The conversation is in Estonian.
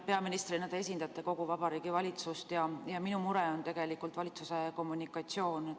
Peaministrina te esindate kogu Vabariigi Valitsust ja minu mure on tegelikult valitsuse kommunikatsioon.